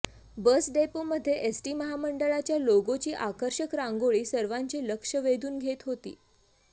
बस डेपोमध्ये एसटी महामंडळाच्या लोगोची आकर्षक रांगोळी सर्वांचे लक्ष वेधून घेत होती